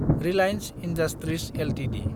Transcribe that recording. Reliance Industries Ltd